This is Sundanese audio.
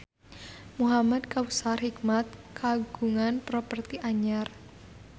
Muhamad Kautsar Hikmat kagungan properti anyar